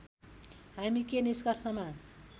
हामी के निष्कर्षमा